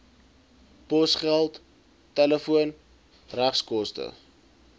posgeld telefoon regskoste